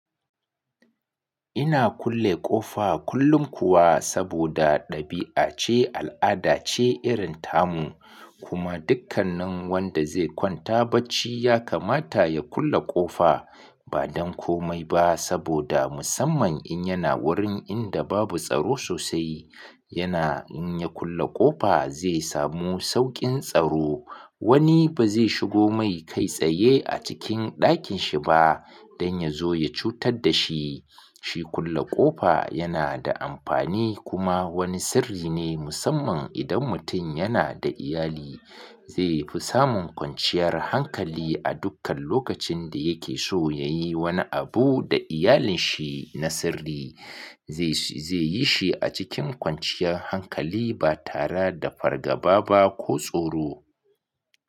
Ina kulle ƙofa kullum kuwa saboda ɗabi'a ce, al'ada ce irin tamu, kuma dukkanin wanda zai kwanta bacci ya kamata ya kulle ƙofa, ba don komai ba saboda musamman in yana wurin inda babu tsaro sosai, yana in ya kulle ƙofa zai samu sauƙin tsaro. Wani ba zai shigo mai kai tsaye a cikin ɗakin shi ba don ya zo ya cutar da shi. Shi kulle ƙofa yana da amfani kuma wani sirri ne musamman idan mutum yana da iyali. Zai fi samun kwanciyar hankali a dukkan lokacin da yake so ya yi wani abu da iyalinshi na sirri. Zai yi shi a cikin kwanciyar hankali ba tare da fargaba ba ko tsoro.